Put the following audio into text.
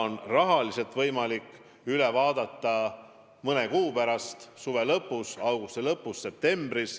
Need rahalised võimalused saab üle vaadata mõne kuu pärast, augusti lõpus või septembris.